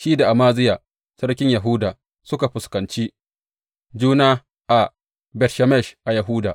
Shi da Amaziya sarkin Yahuda suka fuskanci juna a Bet Shemesh a Yahuda.